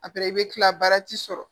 i bɛ kila baara ti sɔrɔ